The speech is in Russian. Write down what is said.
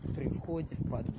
при входе в под